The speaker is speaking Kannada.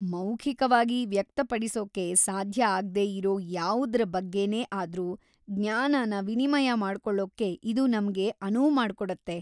ಮೌಖಿಕವಾಗಿ ವ್ಯಕ್ತಪಡಿಸೋಕೆ ಸಾಧ್ಯ ಆಗ್ದೇ ಇರೋ ಯಾವುದ್ರ ಬಗ್ಗೆನೇ ಆದ್ರೂ ಜ್ಞಾನನ ವಿನಿಮಯ ಮಾಡ್ಕೊಳ್ಳೋಕೆ ಇದು ನಮ್ಗೆ ಅನುವು ಮಾಡ್ಕೊಡುತ್ತೆ.